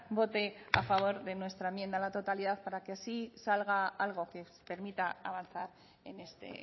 vote a favor de nuestra enmienda a la totalidad para que así salga algo que permita avanzar en este